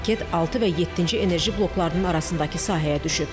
Raket 6 və 7-ci enerji bloklarının arasındakı sahəyə düşüb.